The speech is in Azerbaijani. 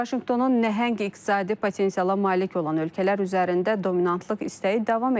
Vaşinqtonun nəhəng iqtisadi potensiala malik olan ölkələr üzərində dominantlıq istəyi davam edir.